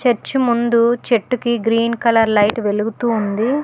Church ముందు చెట్టు కి గ్రీన్ కలర్ లైట్ వెలుగుతూ ఉంది.